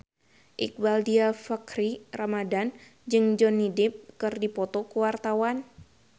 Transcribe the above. Iqbaal Dhiafakhri Ramadhan jeung Johnny Depp keur dipoto ku wartawan